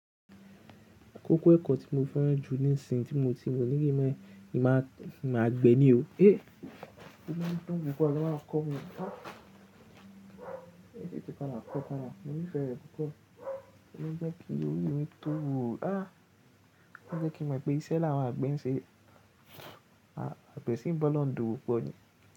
Kókó ẹ̀kọ́ tí mo fẹ́ràn jù nísin tí mo ti wò ní ilé ìwé ni màá gbé ní o. Ó mọ́ mi dún púpọ̀ ni wọ́n máa ń kọ́ wa. Níbi tí ó para kọ́ para, mo nífẹ̀ẹ́ rẹ̀ púpọ̀. Ó ń jẹ́ kí orí mi tó wu. Ó ń jẹ́ kí mo mọ̀ pé iṣẹ́ làwọn àgbẹ̀ ń ṣe. Àgbẹ̀ sì ń bọ́lọ̀uń dòwòpò ni.